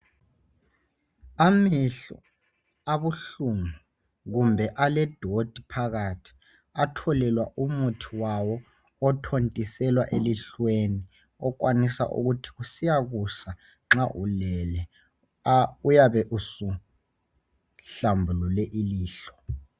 Amehlo abuhlungu kumbe alengcekeza phakathi atholelwa umuthi wawo othontiselwa elihlweni okwanisa ukuthi kusiya kusa nxa ulele uyabe usuhlambulule ilihlo.